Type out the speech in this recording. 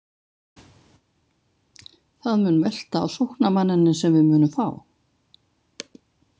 Það mun velta á sóknarmanninum sem við munum fá.